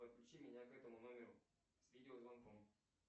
подключи меня к этому номеру с видеозвонком